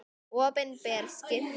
Opinber skipti.